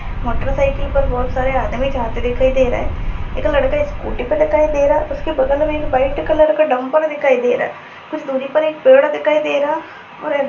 --motorcycle पर बहुत सारे आदमी जाते हुए दिखाई दे रहा है एक लड़का स्कूटी पर दिखाई दे रहा है बगल में वाइट कलर का डम्पर दिखाई दे रहा है कुछ दूरी पर पेड़ दिखाई और --